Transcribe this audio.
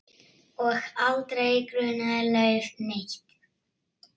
Og aldrei grunaði Leif neitt.